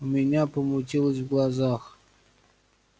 у меня помутилось в глазах